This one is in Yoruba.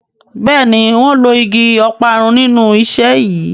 Béèni wón ló ìgi Ọparun nínú iṣé yí.